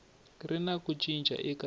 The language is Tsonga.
ri na ku cinca eka